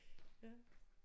Ja